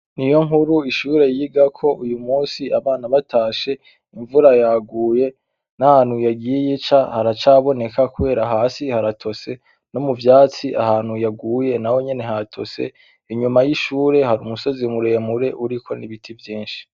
Niyonkuru ishure yigako uyu munsi abana batashe imvura yaguye nahantu yagiye ica haracaboneka kubera hasi haratose nomuvyatsi ahantu yaguye naho nyene hatose, inyuma y'ishure hari umusozi muremure uriko nibiti vyinshi.